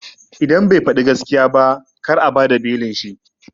Idan bai faɗi gaskiya ba kar a bada belin shi